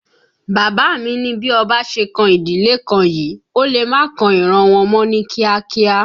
Bàbá mi ni bí ọba ṣe kan ìdílé kan yìí, ó lè má kan ìran wọn mọ́ ní kíá kíá